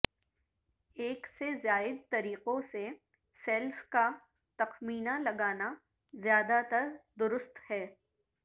ایک سے زائد طریقوں سے سیلز کا تخمینہ لگانا زیادہ تر درست ہے